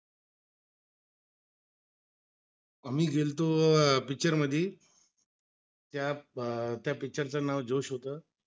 आम्ही गेलतो तो पिक्चर मध्य, त्या ब त्या पिक्चरचं नाव जोश होतो